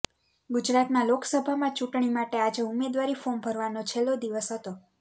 ગુજરાતમાં લોકસભા ચૂંટણી માટે આજે ઉમેદવારી ફોર્મ ભરવાનો છેલ્લી દિવસ હતો